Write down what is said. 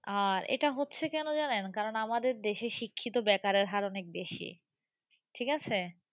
আর এটা হচ্ছে কেন জানেন? কারণ আমাদের দেশে শিক্ষিত বেকারের হার অনেক বেশি ঠিক আছে?